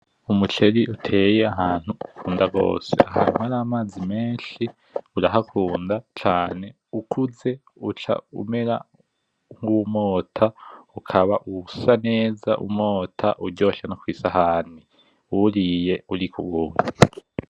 Umuceri uteye ahantu ukunda rwose harimwo n'amazi menshi urahakunda cane, ukuze uca umera nkuwumota ukaba usa neza umota uryoshe nokwisahani uwuriye uri nkuwumwe.